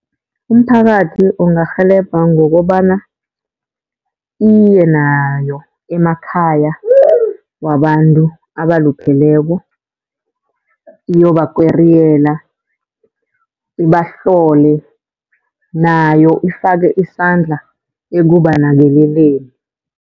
Umphakathi ungarhelebha ngokobana, iye nayo emakhaya wabantu abalupheleko iyobakweriyela, ibahlole. Nayo ifake isandla ekubanakekeleni.